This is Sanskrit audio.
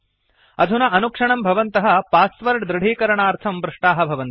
अधुना अनुक्षणं भवन्तः पास्वर्ड् दृढीकरणार्थं पृष्टाः भवन्ति